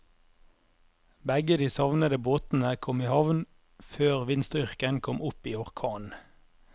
Begge de savnede båtene kom i havn før vindstyrken kom opp i orkan.